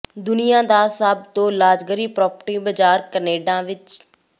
ਦੁਨੀਆ ਦਾ ਸਭ ਤੋਂ ਲਗਜ਼ਰੀ ਪ੍ਰਾਪਰਟੀ ਬਜ਼ਾਰ ਕੈਨੇਡਾ ਵਿਚ